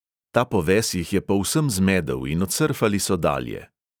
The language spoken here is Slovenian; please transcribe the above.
Ta poves jih je povsem zmedel in odsrfali so dalje.